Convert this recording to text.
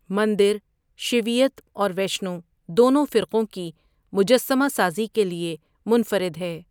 مندر شیویت اور ویشنو دونوں فرقوں کی مجسمہ سازی کے لیے منفرد ہے۔